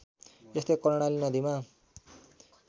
यस्तै कर्णाली नदीमा